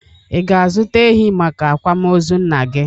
Ị ga-azụta ehi maka akwamozu nna gị?